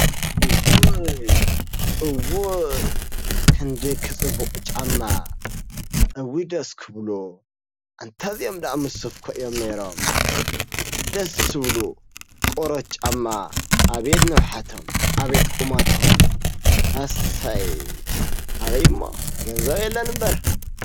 እውይ! እውይ! ክንደይ ክፅብቅ ጫማ እውይ ደስ ክብሉ! አንታ እዚኦም ደአ ምስ ሱፍ እኮ እዮም ነይሮም፡፡ ደስ ዝብሉ ቆርበት ጫማ አብየት! ንውሓቶም አብየት! ቁመቶም አሰይ አበይ’ሞ ገንዘብ የለን እምበር!